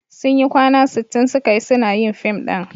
Sun yi kwana sittin suka yi suna yin fim ɗin.